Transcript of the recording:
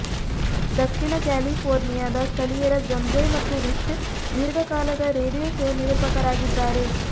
ದಕ್ಷಿಣ ಕ್ಯಾಲಿಫೋರ್ನಿಯಾದ ಸ್ಥಳೀಯರ ಜೊನ್ಜೆಯ್ ಮತ್ತು ರಿಚ್ ದೀರ್ಘಕಾಲದ ರೇಡಿಯೊ ಶೋ ನಿರೂಪಕರಾಗಿದ್ದಾರೆ